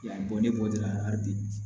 Yan bɔ ne bɔ la hali bi